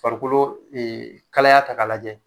Farikolo kalaya ta k'a lajɛ